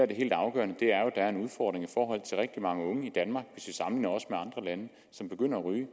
det helt afgørende er er en udfordring i mange unge i danmark som begynder at ryge